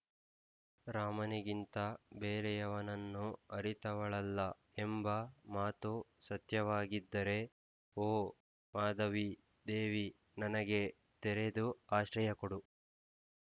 ರಾಮನಿಗಿಂತ ಬೇರೆಯವನನ್ನು ಅರಿತವಳಲ್ಲ ಎಂಬ ಮಾತು ಸತ್ಯವಾಗಿದ್ದರೆ ಓ ಮಾಧವೀ ದೇವಿ ನನಗೆ ತೆರೆದು ಆಶ್ರಯಕೊಡು